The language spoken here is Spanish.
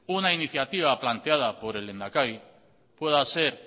una iniciativa planteada por el lehendakari pueda ser